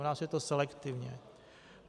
U nás je to selektivní.